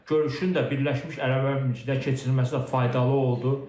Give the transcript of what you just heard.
Görüşün də Birləşmiş Ərəb Əmirliklə keçirilməsi də faydalı oldu.